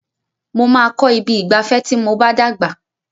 Mo máa kọ ibi ìgbafẹ́ ti mo bá dàgbà.